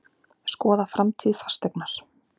Skoða framtíð Fasteignar